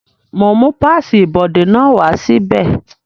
Mo ń mú páàsì ibodè náà wá sí bẹ̀